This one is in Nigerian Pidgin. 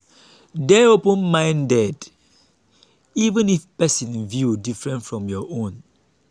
dey open-minded even if person view different from your own.